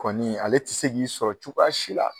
Kɔni ale ti se k'i sɔrɔ cogoya si la.